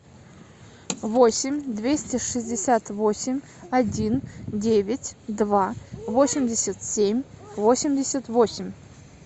восемь двести шестьдесят восемь один девять два восемьдесят семь восемьдесят восемь